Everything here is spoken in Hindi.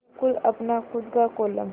बिल्कुल अपना खु़द का कोलम